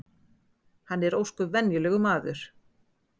Hann er ósköp venjulegur maður